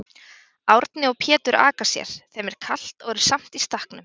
Árni og Pétur aka sér, þeim er kalt og eru samt í stakknum.